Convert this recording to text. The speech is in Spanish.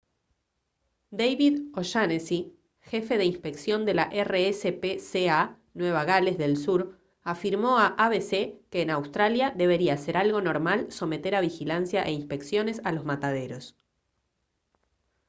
david o'shannessy jefe de inspección de la rspca nueva gales del sur afirmó a abc que en australia debería ser algo normal someter a vigilancia e inspecciones a los mataderos